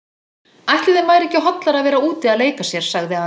Ætli þeim væri ekki hollara að vera úti að leika sér sagði afi.